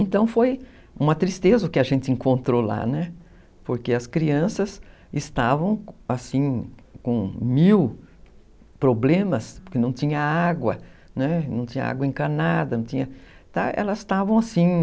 Então foi uma tristeza o que a gente encontrou lá, né, porque as crianças estavam, assim, com mil problemas, porque não tinha água, não tinha água encanada, elas estavam assim,